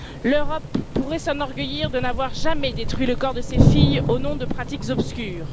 L'Europe pourrait s'enorgueillir de n'avoir jamais détruit le corps de ses filles au nom de pratiques obscures.